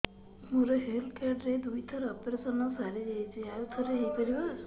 ମୋର health card ରେ ଦୁଇ ଥର ଅପେରସନ ସାରି ଯାଇଛି ଆଉ ଥର ହେଇପାରିବ